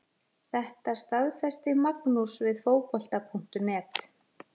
Þetta staðfesti Magnús við Fótbolta.net.